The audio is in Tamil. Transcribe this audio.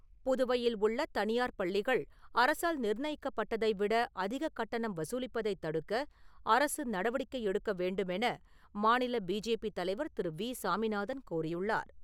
புதுவையில் உள்ள தனியார் பள்ளிகள் அரசால் நிர்ணயிக்கப்பட்டதைவிட அதிகக் கட்டணம் வசூலிப்பதைத் தடுக்க அரசு நடவடிக்கை எடுக்க வேண்டுமென மாநில பிஜேபி தலைவர் திரு. வி. சாமிநாதன் கோரியுள்ளார்.